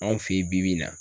Anw fe ye bi bi in na